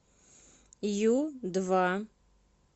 ю два